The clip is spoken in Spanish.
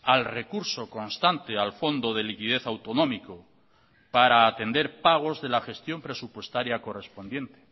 al recurso constante al fondo de liquidez autonómico para atender pagos de la gestión presupuestaria correspondiente